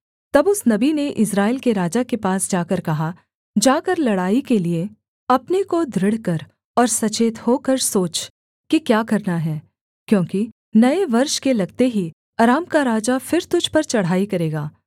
तब उस नबी ने इस्राएल के राजा के पास जाकर कहा जाकर लड़ाई के लिये अपने को दृढ़ कर और सचेत होकर सोच कि क्या करना है क्योंकि नये वर्ष के लगते ही अराम का राजा फिर तुझ पर चढ़ाई करेगा